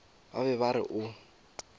ba be ba re o